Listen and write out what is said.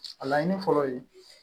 A laɲini fɔlɔ ye